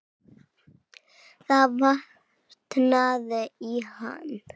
Það vantaði í hann.